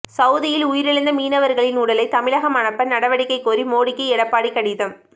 சவூதியில் உயிரிழந்த மீனவர்களின் உடலை தமிழகம் அனுப்ப நடவடிக்கை கோரி மோடிக்கு எடப்பாடிக்கு கடிதம்